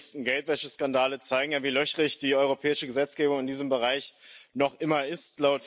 Die jüngsten Geldwäscheskandale zeigen ja, wie löchrig die europäische Gesetzgebung in diesem Bereich noch immer ist.